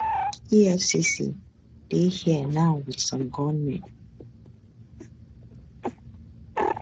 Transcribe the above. efcc dey here now wit some gunmen